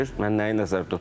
Mən nəyi nəzərdə tuturam?